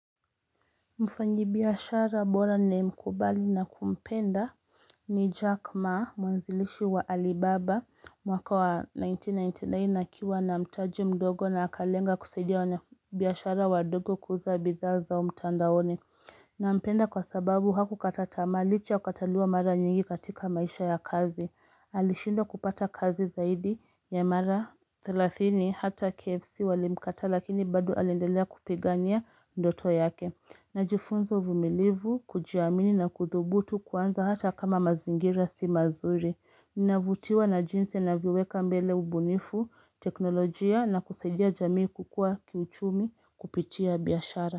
Mfanyi biashara bora nimkubali na kumpenda ni Jack ma mwanzilishi wa Alibaba mwaka wa 1999 akiwa na mtaji mdogo na akalenga kusaidia wanabiashara wadogo kuuza bidhaa zao mtandaoni. Nampenda kwa sababu hakukata tamaa licha ya kukataliwa mara nyingi katika maisha ya kazi. Alishindwa kupata kazi zaidi ya mara 30 hata KFC walimkataa lakini bado alindelea kupigania ndoto yake. Najifunza uvumilivu, kujiamini na kudhubutu kwanza hata kama mazingira si mazuri. Ninavutiwa na jinsi anavyoweka mbele ubunifu, teknolojia na kusaidia jamii kukua kiuchumi kupitia biashara.